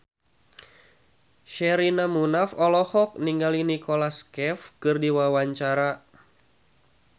Sherina Munaf olohok ningali Nicholas Cafe keur diwawancara